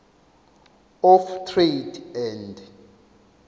of trade and